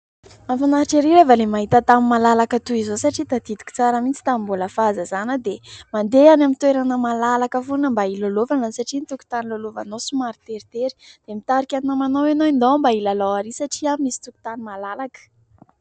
Mahafinaritra ery rehefa ilay mahita tany malalaka toy izao, satria tadidiko tsara mihitsy tamin'ny mbola fahazazana dia mandeha any amin'ny toerana malalaka foana mba hilalaovana, satria ny tokontany hilalaovanao somary teritery. Dia nitarika ny namanao ianao hoe ndao mba hilalao ary satria any misy tokontany malalaka.